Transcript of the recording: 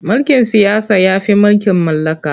Mulkin siyasa ya fi mulkin mallaka.